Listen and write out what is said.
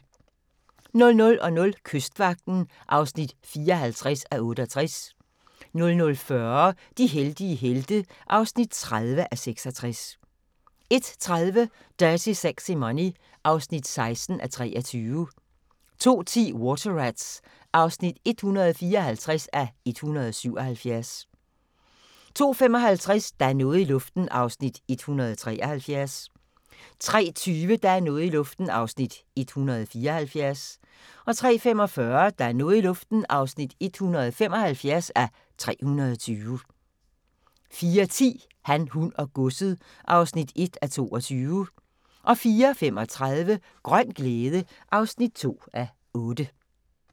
00:00: Kystvagten (54:68) 00:40: De heldige helte (30:66) 01:30: Dirty Sexy Money (16:23) 02:10: Water Rats (154:177) 02:55: Der er noget i luften (173:320) 03:20: Der er noget i luften (174:320) 03:45: Der er noget i luften (175:320) 04:10: Han, hun og godset (1:22) 04:35: Grøn glæde (2:8)